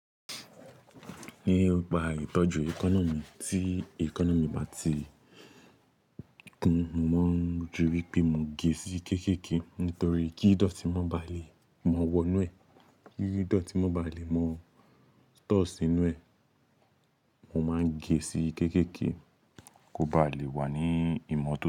Nípa ìtọ́jú ẹkana mì tí ẹkana mì bá ti gun, mo ń ríi pé mo gẹ̀ sí kéékèèké nítorí kí ìdọ̀tí mọ́ ba le mọ wọ inú ẹ̀, kí ìdọ̀tí mọ́ ba le mọ store sinú ẹ̀, mo máa ń gẹ̀ sí kéékèèké kó ba lè wà ní ìmọ́to.